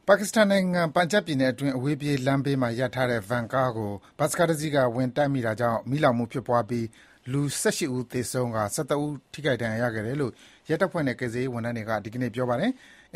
ပါကစ္စတန်နိုင်ငံ၊ ပန်ဂျပ်ပြည်နယ်အတွင်း အဝေးပြေးလမ်းဘေးမှာ ရပ်ထားတဲ့ ဗန်ကားတစီးကို ဘတ်စ်ကားတစီးက ဝင်တိုက်မိတာကြောင့် မီးလောင်မှု ဖြစ်ပွားပြီး လူ ၁၈ ဦး သေဆုံးကာ ၁၃ ထိခိုက် ဒဏ်ရာရခဲ့တယ်လို့ ရဲတပ်ဖွဲ့နဲ့ ကယ်ဆယ်ရေးဝန်ထမ်းတွေက ဒီကနေ့ ပြောပါတယ်။